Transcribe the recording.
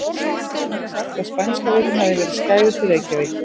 Pabbi hafði sagt að spænska veikin hefði verið skæðust í Reykjavík.